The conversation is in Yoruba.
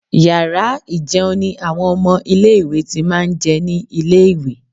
Yàrá ì̀jẹun ni àwọn ọmọ ilé-ìwé ti máa ń jẹ ní ilé-ìwé